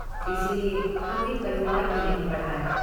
इसीलिये हमने परिवार भी नहीं बढ़ाया।